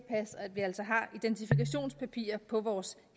vi altså har identifikationspapirer på vores